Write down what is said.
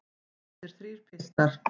Þessir þrír piltar.